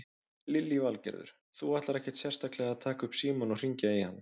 Lillý Valgerður: Þú ætlar ekkert sérstaklega að taka upp símann og hringja í hann?